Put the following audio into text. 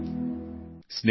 ತಿರಂಗೇ ಮೇ ಬಸಾ ಪ್ರಾಣ್ ಹೈ